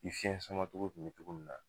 I fiɲɛ sama cogo kun be cogo min na